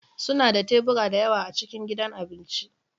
Suna da tebura da yawa a cikin gidan abinci